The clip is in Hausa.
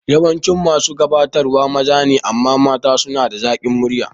Yawancin masu gabatarwa maza ne amma matan suna da zakin murya